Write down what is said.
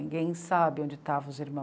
Ninguém sabe onde estavam os irmãos.